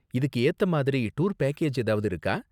இதுக்கு ஏத்த மாதிரி டூர் பேக்கேஜ் ஏதாவது இருக்கா?